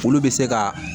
Olu bɛ se ka